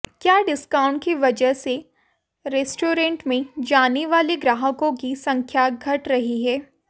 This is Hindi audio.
क्या डिस्काउंट की वजह से रेस्टोरेंट में जाने वाले ग्राहकों की संख्या घट रही है